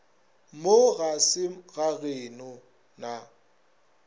mo ga se gageno na